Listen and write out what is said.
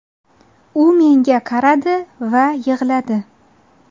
U menga qaradi va yig‘ladi.